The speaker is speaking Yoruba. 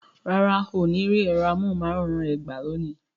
Rárá, o ní rí ẹ̀rọ amóhùn máwòrán rẹ gbà lónìí